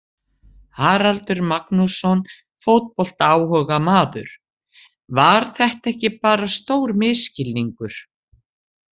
Haraldur Magnússon, fótboltaáhugamaður Var þetta ekki bara stór misskilningur?